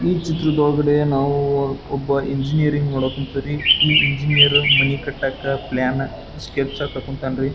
ಈ ಚಿತ್ರದೊಳಗಡೆ ನಾವು ಒಬ್ಬ ಇಂಜಿನಿಯರ್ ನೋಡಕ್ ಹೊಂತಿರಿ ಈ ಇಂಜಿನಿಯರ್ ಮನಿ ಕಟ್ಟಕ ಪ್ಲಾನ್ ಸ್ಕೆಚ್ ಹಾಕೋಕ್ ಹೊಂತನ್ರಿ.